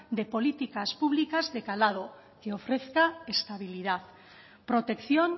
de políticas públicas de calado que ofrezca estabilidad protección